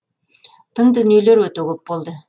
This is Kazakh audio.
тың дүниелер өте көп болды